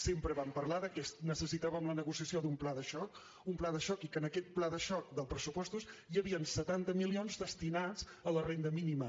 sempre vam parlar que necessitàvem la negociació d’un pla de xoc un pla de xoc i que en aquest pla de xoc dels pressupostos hi havia setanta milions destinats a la renda mínima